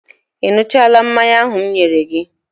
Ị ṅụchaala mmanya ahụ m nyere gị?